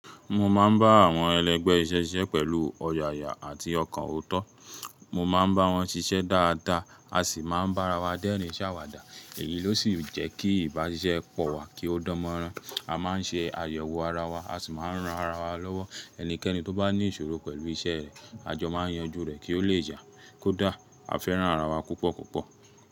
Mo máa ń bá àwọn ẹlẹgbẹ́ iṣẹ́ ṣiṣẹ́ pẹ̀lú ọ̀yàyà àti ọkàn ọ̀tọ́. Mo máa ń bá wọn ṣiṣẹ́ dáadáa a sì máa ń bá ara wa dẹ́rìn ṣàwàdà. Èyí ló sì jẹ́ kí ìbáṣiṣẹ́ pọ̀ wá kí ó dánmọ́rán. A máa ń ṣe àyẹ̀wò ara wa, a sì máa ń ran ara wa lọ́wọ́. Ẹnikẹ́ni tó bá ní ìṣòro pẹ̀lú iṣẹ́ rẹ̀, a jọ máa ń yanjú rẹ̀ kí ó lè yà kó dà. A fẹ́ràn ara wa púpọ̀ púpọ̀.